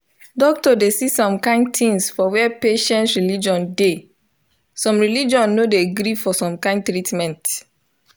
doctor dey see some kind things for where patient religion dey. some religion no dey gree for some kind treatment.